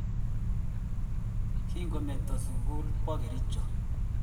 Kindo meto sukul kiwo Kericho